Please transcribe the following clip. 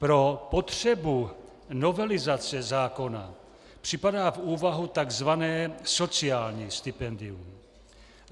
Pro potřebu novelizace zákona připadá v úvahu tzv. sociální stipendium.